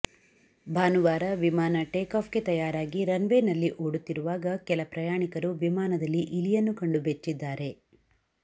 ಭಾನುವಾರ ವಿಮಾನ ಟೇಕಾಫ್ ಗೆ ತಯಾರಾಗಿ ರನ್ ವೇ ನಲ್ಲಿ ಓಡುತ್ತಿರುವಾಗ ಕೆಲ ಪ್ರಯಾಣಿಕರು ವಿಮಾನದಲ್ಲಿ ಇಲಿಯನ್ನು ಕಂಡು ಬೆಚ್ಚಿದ್ದಾರೆ